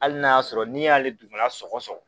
Hali n'a y'a sɔrɔ n'i y'ale dugufala sɔgɔ sɔgɔ